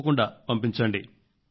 తప్పకుండా పంపించండి